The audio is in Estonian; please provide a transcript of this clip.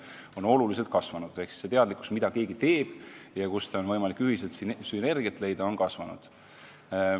See valmisolek ja üldine teadlikkus, mida keegi teeb ja kuidas on võimalik ühiselt sünergiat leida, on kõvasti kasvanud.